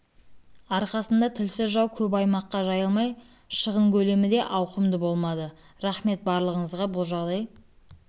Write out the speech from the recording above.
арқасында тілсіз жау көп аймаққа жайылмай шығын көлемі де ауқымды болмады рахмет барлығыңызға бұл жағдай